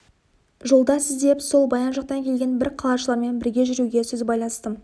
жолдас іздеп сол баян жақтан келген бір қалашылармен бірге жүруге сөз байластым